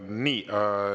Nii.